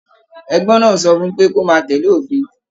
Ẹgbẹ náà sọ fún pé, kò máa tẹlé òfin.